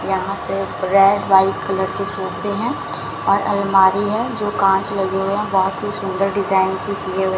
यहाँ पे red white colour के सोफे हैं और अलमारी है जो कांच लगे हुए हैं बहोत ही सुंदर डिजाइन की किए हुए--